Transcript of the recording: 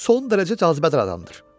Son dərəcə cazibədar adamdır.